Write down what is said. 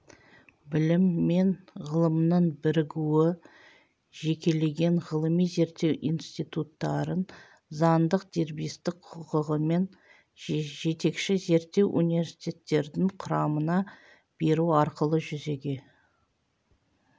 білім мен ғылымның бірігуі жекелеген ғылыми-зерттеу институттарын заңдық дербестік құқығымен жетекші зерттеу университеттердің құрамына беру арқылы жүзеге